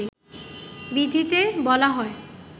বিধিতে বলা হয়